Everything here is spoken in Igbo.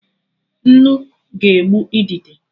Nnu ga-egbu idide